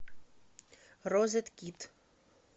розеткид